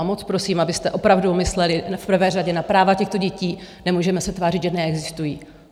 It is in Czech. A moc prosím, abyste opravdu mysleli v prvé řadě na práva těchto dětí, nemůžeme se tvářit, že neexistují.